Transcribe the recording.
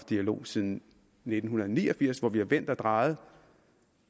dialog siden nitten ni og firs hvor vi har vendt og drejet